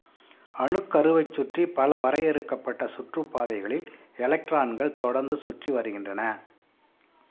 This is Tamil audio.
அணுக்கருவைச் சுற்றி பல வரையறுக்கப்பட்ட சுற்றுப் பாதைகளில் எலக்ட்ரான்கள் தொடர்ந்து சுற்றி வருகின்றன